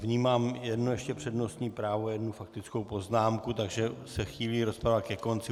Vnímám ještě jedno přednostní právo, jednu faktickou poznámku, takže se chýlí rozprava ke konci.